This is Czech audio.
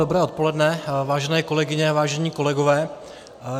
Dobré odpoledne, vážené kolegyně, vážení kolegové.